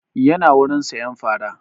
Ya na wurin sayan fara